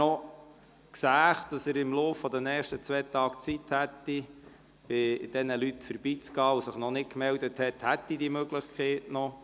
Wer noch sieht, dass er im Verlauf der nächsten zwei Tage Zeit hätte, bei diesen Leuten vorbeizugehen, und sich noch nicht gemeldet hat, hätte diese Möglichkeit noch.